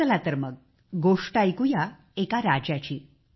चला तर मग गोष्ट ऐकूया एका राजाची